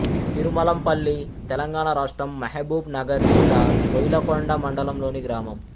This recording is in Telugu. తిరుమలంపల్లి తెలంగాణ రాష్ట్రం మహబూబ్ నగర్ జిల్లా కోయిలకొండ మండలంలోని గ్రామం